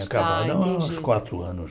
Ah entendi Tinha acabado há uns quatro anos.